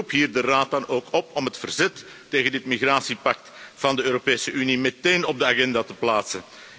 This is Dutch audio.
Ik roep hier de Raad dan ook op om het verzet tegen dit migratiepact van de Europese Unie meteen op de agenda te plaatsen.